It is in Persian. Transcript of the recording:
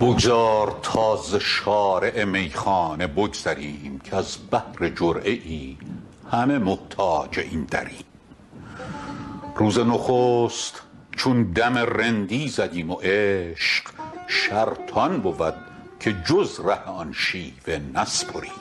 بگذار تا ز شارع میخانه بگذریم کز بهر جرعه ای همه محتاج این دریم روز نخست چون دم رندی زدیم و عشق شرط آن بود که جز ره آن شیوه نسپریم